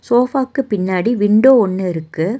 சோஃபாக்கு பின்னாடி விண்டோ ஒன்னு இருக்கு.